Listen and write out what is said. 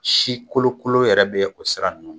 Si kolokolo yɛrɛ be o sira ninnu na